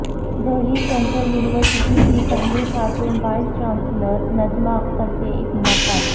Delhi central university کی پہلی خاتون وائس چانسلر نجمہ اختر سے ایک ملاقات